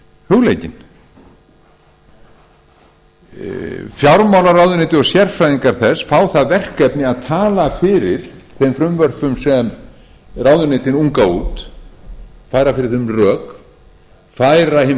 hugleikin fjármálaráðuneytið og sérfræðingar þess fá það verkefni að tala fyrir þeim frumvörpum sem ráðuneytin unga út færa fyrir þeim rök færa hin pólitísku